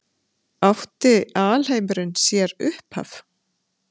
Átti alheimurinn sér upphaf?